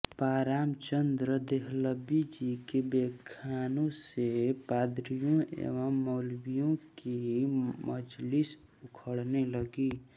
पं रामचन्द्र देहलवी जी के व्याख्यानों से पादरियों एवं मौलवियों की मजलिस उखड़ने लगी